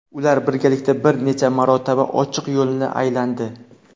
Ular birgalikda bir necha marotaba ochiq yo‘lni aylandi.